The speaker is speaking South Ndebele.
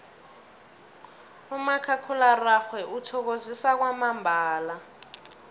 umakhakhulararhwe uthokozisa kwamambala